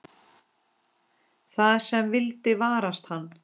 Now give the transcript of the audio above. Það sem vildi varast hann.